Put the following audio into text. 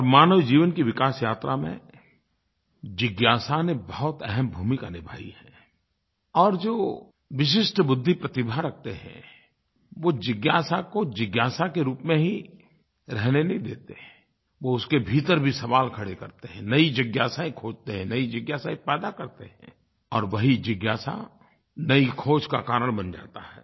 और मानव जीवन की विकास यात्रा में जिज्ञासा ने बहुत अहम भूमिका निभाई है और जो विशिष्ट बुद्धि प्रतिभा रखते हैं वो जिज्ञासा को जिज्ञासा के रूप में ही रहने नहीं देते वे उसके भीतर भी सवाल खड़े करते हैं नई जिज्ञासायें खोजते हैं नई जिज्ञासायें पैदा करते हैं और वही जिज्ञासा नई खोज का कारण बन जाती है